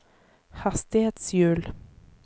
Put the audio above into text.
hastighetshjul